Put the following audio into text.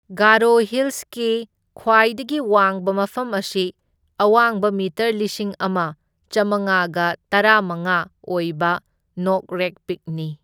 ꯒꯥꯔꯣ ꯍꯤꯜꯁꯀꯤ ꯈ꯭ꯋꯥꯏꯗꯒꯤ ꯋꯥꯡꯕ ꯃꯐꯝ ꯑꯁꯤ ꯑꯋꯥꯡꯕ ꯃꯤꯇꯔ ꯂꯤꯁꯤꯡ ꯑꯃ ꯆꯥꯝꯃꯉꯥꯒ ꯇꯔꯥꯃꯉꯥ ꯑꯣꯏꯕ ꯅꯣꯛꯔꯦꯛ ꯄꯤꯛꯅꯤ꯫